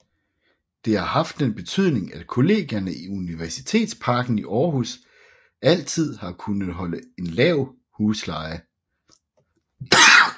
Det har haft den betydning at Kollegierne i Universitetsparken i Aarhus altid har kunnet holde en lav husleje